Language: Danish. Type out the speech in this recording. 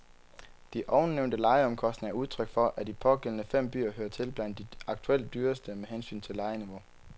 De ovennævnte lejeomkostninger er udtryk for, at de pågældende fem byer hører til blandt de aktuelt dyreste med hensyn til lejeniveau.